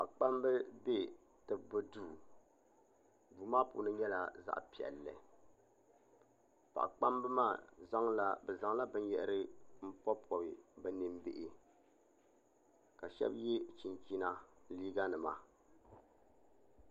Paɣikpamba be tibbu duu duu maa puuni nyɛla zaɣ' piɛlli paɣikpamba maa zaŋla bɛ zaŋla binyɛhiri m-pɔbipɔbi bɛ nimbihi ka shɛba ye chinchina liiɡanima